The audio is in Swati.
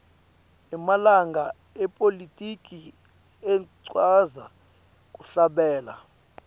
emalunga epolitiki atsqndza kuhlabela